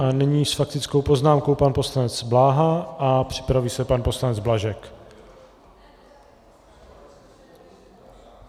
A nyní s faktickou poznámkou pan poslanec Bláha a připraví se pan poslanec Blažek.